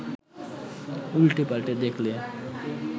উল্টেপাল্টে দেখলে